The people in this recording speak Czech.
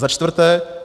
Za čtvrté.